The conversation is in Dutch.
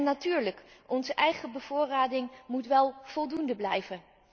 En natuurlijk, onze eigen bevoorrading moet wel voldoende blijven.